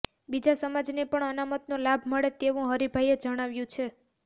બીજા સમાજને પણ અનામતનો લાભ મળે તેવું હરિભાઈએ જણાવ્યું છે